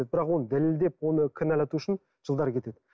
бірақ оны дәлелдеп оны кінәлату үшін жылдар кетеді